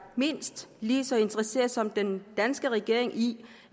mindst lige så interesseret som den danske regering i